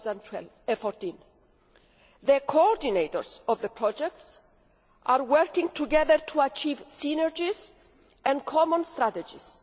2014. The coordinators of the projects are working together to achieve synergies and common strategies.